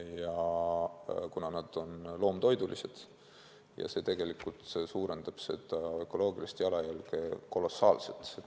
Ja kuna nad on loomtoidulised, siis see tegelikult suurendab seda ökoloogilist jalajälge kolossaalselt.